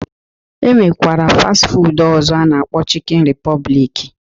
E nwekwara fastị fuud ọzọ a na-akpọ chikin ripọblik